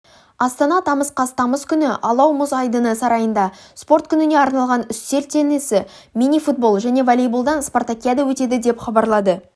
астана тамыз қаз тамыз күні алау мұз айдыны сарайында спорт күніне арналған үстел теннисі мини-футбол және волейболдан спартакиада өтеді деп хабарлады